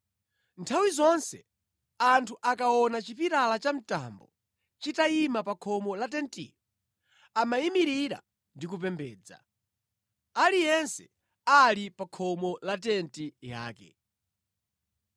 Nthawi zonse anthu akaona chipilala cha mtambo chitayima pa khomo la tentiyo amayimirira ndi kupembedza, aliyense ali pa khomo la tenti yake.